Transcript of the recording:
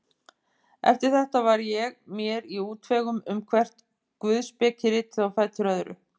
Eftir þetta var ég mér í útvegum um hvert guðspekiritið á fætur öðru.